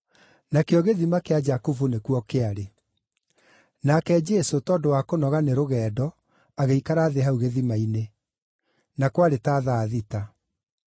Nakĩo gĩthima kĩa Jakubu nĩkuo kĩarĩ, nake Jesũ, tondũ wa kũnoga nĩ rũgendo, agĩikara thĩ hau gĩthima-inĩ. Na kwarĩ ta thaa thita.